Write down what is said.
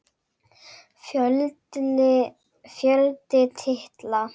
Fjöldi titla